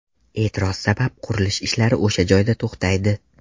E’tiroz sabab qurilish ishlari o‘sha joyda to‘xtaydi.